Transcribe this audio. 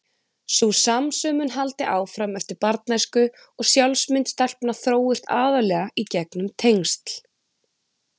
Sú samsömun haldi áfram eftir barnæsku og sjálfsmynd stelpna þróist aðallega í gegnum tengsl.